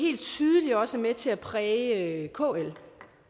er også med til at præge og det